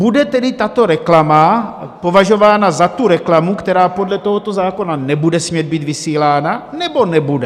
Bude tedy tato reklama považována za tu reklamu, která podle tohoto zákona nebude smět být vysílána, nebo nebude?